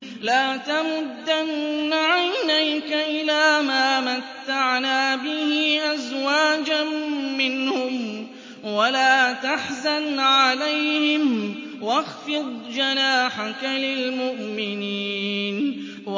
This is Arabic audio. لَا تَمُدَّنَّ عَيْنَيْكَ إِلَىٰ مَا مَتَّعْنَا بِهِ أَزْوَاجًا مِّنْهُمْ وَلَا تَحْزَنْ عَلَيْهِمْ وَاخْفِضْ جَنَاحَكَ لِلْمُؤْمِنِينَ